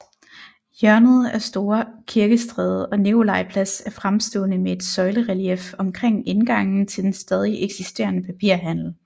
Hjørnet af Store Kirkestræde og Nikolaj Plads er fremstående med et søjlerelief omkring indgangen til den stadig eksisterende papirhandel